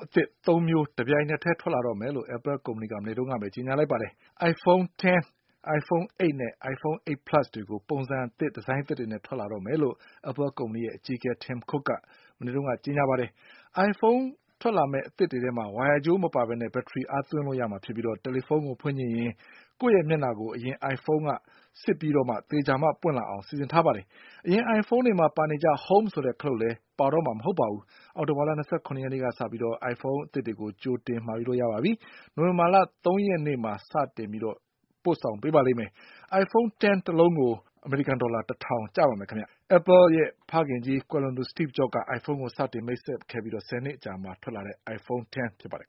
အသစ် သုံးမျိုး တပြိုင်ထဲ ထွက်လာတော့မယ်လို့ Apple ကုမ္ပဏီက မနေ့ကဘဲ ကြေညာလိုက်ပါတယ်။ Iphone X ၊iPhone 8 နဲ့ iPhone 8 plus တွေ ပုံစံအသစ်နဲ့ ထွက်လာမယ်လို့ Apple ကုမ္ပဏီရဲ့ အကြီးအကဲ Tim Cook က ကြေညာပါတယ်။ အိုင်ဖုန်း အသစ်တွေမှာ ဝိုင်ရာကြိုးမပါဘဲ ဘက်ထရီ အားသွင်းလို့ ရမှာ ဖြစ်ပြီး တယ်လီဖုန်းကို ဖွင့်ချင်ရင် ကိုယ့် မျက်နှာကို အရင ်အိုင်ဖုန်းက စစ်ပြီး သေချာမှ ပွင့်လာအောင် စီစဉ်ထားပါတယ်။ အရင် အိုင်ဖုန်းတွေ မှာပါနေကျ Home ဆိုတဲ့ ခလုပ် ပါမှာ မဟုတ်တော့ပါဘူး။ အောက်တိုဘာလ ၂၇ ရက်နေ့က စပြီး ကြိုတင်မှာယူလို့ ရပါပြီ။ နိုဝင်ဘာလ ၃ ရက်နေ့မှာ စပြီး ပို့ပေးပါလိမ့်မယ်။ iPhone X တလုံးကို ဒေါ်လာ ၁ ထောင် ကျပါမယ်။ Apple ရဲ့ ဖခင်ကြီး ကွယ်လွန်သူ Steve Jobs က အိုင်ဖုန်းကို စတင် မိတ်ဆက်ခဲ့ပြီး ၁၀ နှစ် အကြာမှာ ထွက်လာတဲ့ iPhone X ဖြစ်ပါတယ်